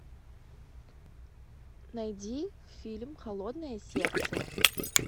найди фильм холодное сердце